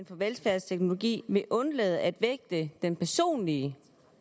for velfærdsteknologi vil undlade at vægte den personlige